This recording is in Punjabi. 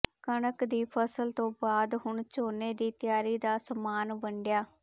ਕਣਕ ਦੀ ਫ਼ਸਲ ਤੋਂ ਬਾਅਦ ਹੁਣ ਝੋਨੇ ਦੀ ਤਿਆਰੀ ਦਾ ਸਮਾਨ ਵੰਡਿਆ